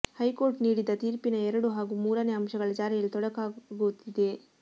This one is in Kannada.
ಹೈಕೋರ್ಟ್ ನೀಡಿದ್ದ ತೀರ್ಪಿನ ಎರಡು ಹಾಗೂ ಮೂರನೇ ಅಂಶಗಳ ಜಾರಿಯಲ್ಲಿ ತೊಡಕಾಗುತ್ತಿದೆ